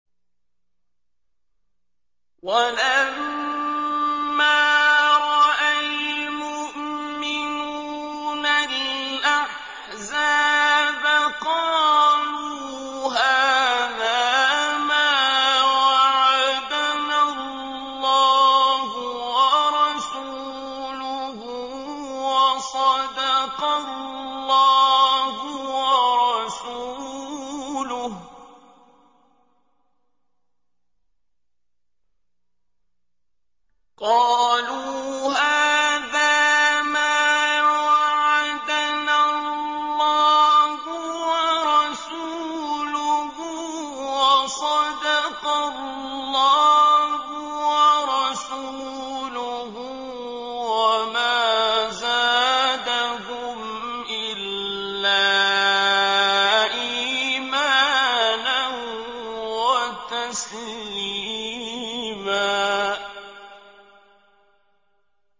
وَلَمَّا رَأَى الْمُؤْمِنُونَ الْأَحْزَابَ قَالُوا هَٰذَا مَا وَعَدَنَا اللَّهُ وَرَسُولُهُ وَصَدَقَ اللَّهُ وَرَسُولُهُ ۚ وَمَا زَادَهُمْ إِلَّا إِيمَانًا وَتَسْلِيمًا